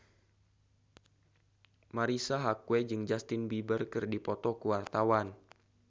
Marisa Haque jeung Justin Beiber keur dipoto ku wartawan